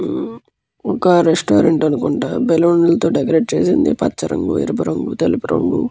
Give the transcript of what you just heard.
ఒక రెస్టారెంట్ అనుకుంట బెలూన్ లతో డెకరేట్ చేసింది పచ్చ రంగు ఎరుపు రంగు తెల్లుపు రంగు --